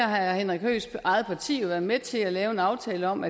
har herre henrik høeghs eget parti jo været med til at lave en aftale om